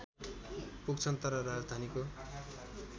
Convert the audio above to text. पुग्छन् तर राजधानीको